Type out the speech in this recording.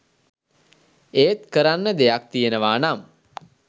එක් කරන්න දෙයක් තියනවා නම්